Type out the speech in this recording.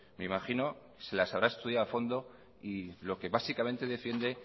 me imagino se las habrá estudiado a fondo y lo que básicamente defiende